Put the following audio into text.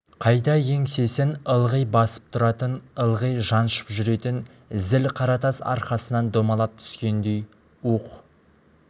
қайта еңсесін ылғи басып тұратын ылғи жаншып жүретін зіл қаратас арқасынан домалап түскендей уһ